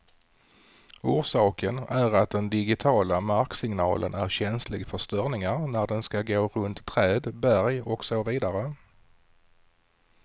Orsaken är att den digitiala marksignalen är känslig för störningar när den skall gå runt träd, berg och så vidare.